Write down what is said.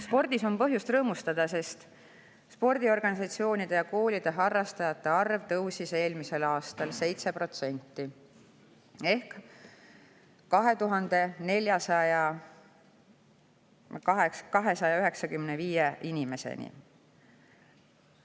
Spordis on põhjust rõõmustada, sest spordiorganisatsioonides ja ‑koolides harrastajate arv tõusis eelmisel aastal 7% ehk 241 295 inimeseni.